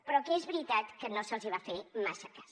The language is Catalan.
però que és veritat que no se’ls va fer massa cas